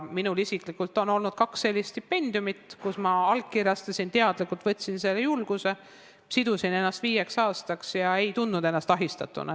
Minul isiklikult on olnud kaks sellist stipendiumit, kui ma allkirjastasin lepingu ja teadlikult võtsin selle julguse, sidusin ennast viieks aastaks ega tundnud ennast ahistatuna.